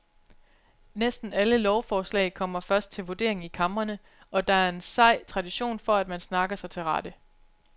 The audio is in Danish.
Næsten alle lovforslag kommer først til vurdering i kamrene, og der er en sej tradition for at man snakker sig til rette.